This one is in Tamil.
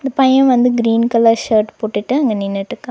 இந்த பைய வந்து கிரீன் கலர் ஷர்ட் போட்டுட்டு அங்க நின்னுட்டுக்கா.